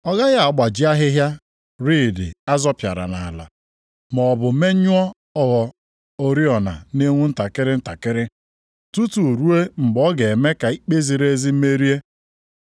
Ọ gaghị agbaji ahịhịa riidi azọpịara nʼala, maọbụ menyụọ ogho oriọna na-enwu ntakịrị ntakịrị, tutu ruo mgbe ọ ga-eme ka ikpe ziri ezi merie.